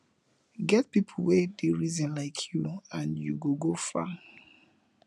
get pipo wey dey reason lyk yu nd yu go go far